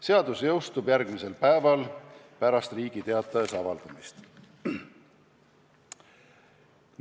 Seadus jõustub järgmisel päeval pärast Riigi Teatajas avaldamist.